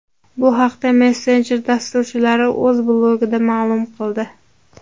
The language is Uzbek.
Bu haqda messenjer dasturchilari o‘z blogida ma’lum qildi .